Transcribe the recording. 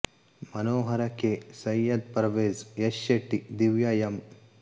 Manohar K Syed Parvez Yash Shetty Divya M